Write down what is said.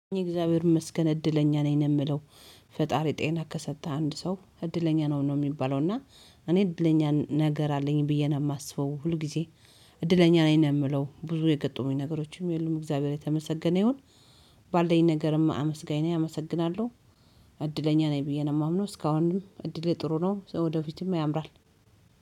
እግዚአብሔር ይመስገን እድለኛ ነኝ የምለው። ፈጣሪ ጤና ከሰጠህ አንድ ሰው እድለኛ ነው ነው ሚባለው እና እኔ እድለኛ ነገር አለኝ ብዬ ነው የማስበው ሁል ጊዜ። እድለኛ ነኝ ነው ምለው ብዙ የገጠሙኝ ነገሮችም የሉም እግዚአብሔር የተመሰገነ ይሁን። ባለኝ ነገርም አመስጋኝ ነኝ አመሰግናለሁ። እድለኛ ነኝ ብዬ ነው ማምነው እስካሁን እድሌ ጥሩ ነው ወደፊትም ያምራል።